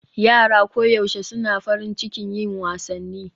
Yara koyaushe suna farin cikin yin wasanni